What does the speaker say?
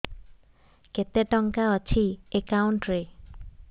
କେତେ ଟଙ୍କା ଅଛି ଏକାଉଣ୍ଟ୍ ରେ